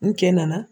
N cɛ nana